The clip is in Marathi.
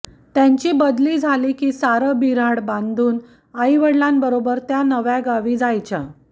त्यांची बदली झाली की सारं बिऱ्हाड बांधून आईृवडिलांबरोबर त्या नव्या गावी जायच्या